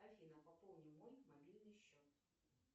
афина пополни мой мобильный счет